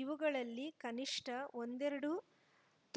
ಇವುಗಳಲ್ಲಿ ಕನಿಷ್ಠ ಒಂದೆರಡು